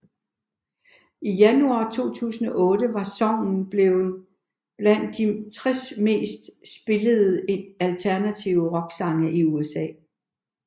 I januar 2008 var songen blevet blandt de 60 mest spillede alternative rocksange i USA